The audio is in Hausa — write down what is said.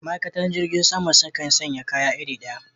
Ma'aikatan jirgin sama sukan sanye kaya iri ɗaya